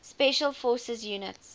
special forces units